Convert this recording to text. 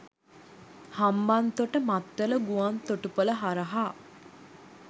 හම්බන්තොට මත්තල ගුවන් තොටුපල හරහා